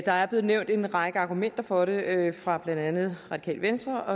der er blevet nævnt en række argumenter for det blandt andet fra radikale venstre